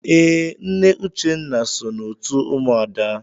Ee, Nne Uchenna so n'otu ụmụada.